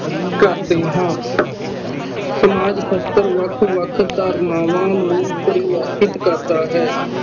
ਕਰਦੇ ਹਾਂ ਸਮਾਜ ਸਾਸਤ੍ਰ ਵੱਖ ਵੱਖ ਧਾਰਨਾਵਾਂ ਨੂੰ ਪ੍ਰਵਾਚਿਤ ਕਰਦਾ ਹੈ